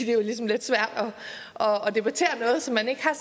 jo ligesom lidt svært at debattere noget som man ikke har